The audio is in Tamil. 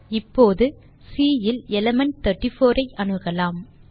இப்போது சி இல் எலிமெண்ட் 34 ஐ அணுகலாம்